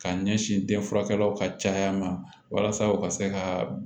K'a ɲɛsin denfurakɛw ka caya ma walasa u ka se ka